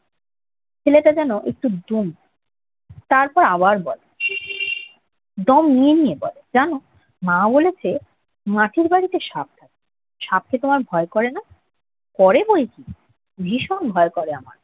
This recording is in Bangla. ছেলেটা যেন একটু দম নেয়। তারপর আবার বলে, দম নিয়ে নিয়ে বলে জান, মা বলেছেন মাটির বাড়িতে সাপ থাকে। সাপকে তোমার ভয় করে না? করে বৈকি। ভীষণ ভয় করে আমার।